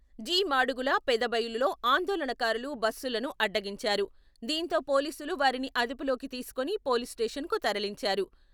జి.మాడుగుల, పెదబయలులో ఆందోళనకారులు బస్సులను అడ్డగించారు.దీంతో పోలీసులు వారిని అదుపులోకి తీసుకొని పోలీస్ స్టేషన్ కు తరలించారు